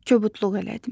Kobudluq elədim.